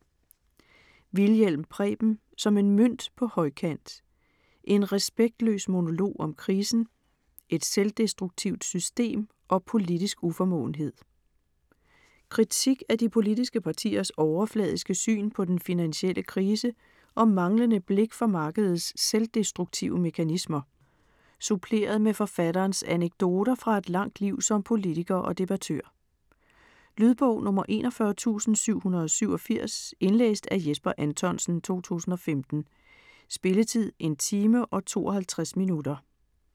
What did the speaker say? Wilhjelm, Preben: Som en mønt på højkant: en respektløs monolog om krisen, et selvdestruktivt system og politisk uformåenhed Kritik af de politiske partiers overfladiske syn på den finansielle krise og manglende blik for markedets selvdestruktive mekanismer, suppleret med forfatterens anekdoter fra et langt liv som politiker og debattør. Lydbog 41787 Indlæst af Jesper Anthonsen, 2015. Spilletid: 1 time, 52 minutter.